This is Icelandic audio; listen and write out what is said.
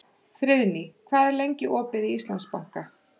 Friðný, hvað er lengi opið í Íslandsbanka?